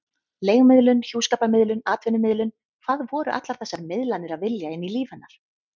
Leigumiðlun, hjúskaparmiðlun, atvinnumiðlun: hvað voru allar þessar miðlanir að vilja inn í líf hennar?